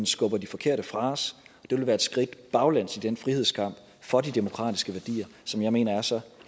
skubber de forkerte fra os og det vil være et skridt baglæns i den frihedskamp for de demokratiske værdier som jeg mener er så